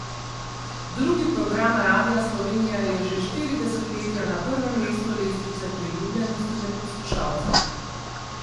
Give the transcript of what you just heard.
Drugi program Radia Slovenija je že štiri desetletja na prvem mestu lestvice priljubljenosti med poslušalci.